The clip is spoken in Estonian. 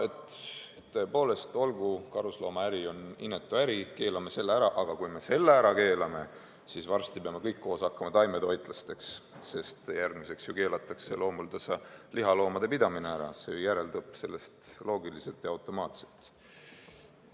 No et tõepoolest, olgu, karusnahaäri on inetu äri, keelame selle ära, aga kui me selle ära keelame, siis varsti peame kõik koos hakkama taimetoitlasteks, sest järgmiseks ju keelatakse ka lihaloomade pidamine ära – see justkui järeldub sellest loogiliselt ja automaatselt.